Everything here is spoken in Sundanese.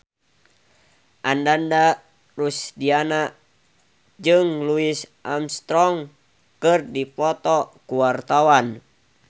Ananda Rusdiana jeung Louis Armstrong keur dipoto ku wartawan